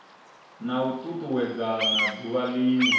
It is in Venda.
na u tutuwedzana duvha linwe